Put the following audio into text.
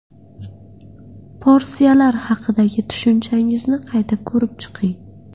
Porsiyalar haqidagi tushunchangizni qayta ko‘rib chiqing.